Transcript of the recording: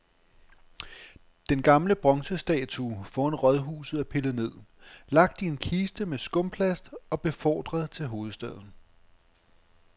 Den gamle bronzestatue foran rådhuset er pillet ned, lagt i en kiste med skumplast og befordret til hovedstaden.